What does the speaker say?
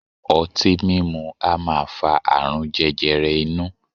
Ọtí mimu a maa fa aarun jẹjẹrẹ inu